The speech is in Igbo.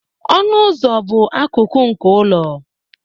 ọnụ ụzọ bụ akụkụ nke ụlọ